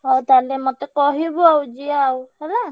ହଉ ତାହେଲେ ମତେ କହିବୁ ଆଉ ଯିବା ଆଉ।